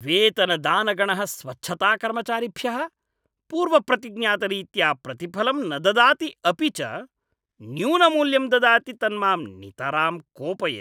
वेतनदानगणः स्वच्छताकर्मचारिभ्यः पूर्वप्रतिज्ञातरीत्या प्रतिफलं न ददाति अपि च न्यूनमूल्यं ददाति तन्मां नितरां कोपयति।